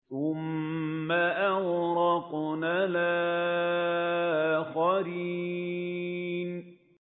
ثُمَّ أَغْرَقْنَا الْآخَرِينَ